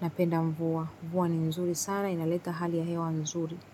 napenda mvua, mvua ni nzuri sana, inaleta hali ya hewa nzuri.